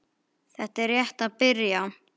Þetta er rétt að byrja.